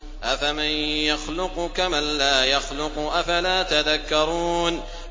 أَفَمَن يَخْلُقُ كَمَن لَّا يَخْلُقُ ۗ أَفَلَا تَذَكَّرُونَ